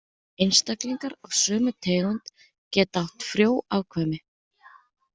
Einstaklingar af sömu tegund geta átt frjó afkvæmi.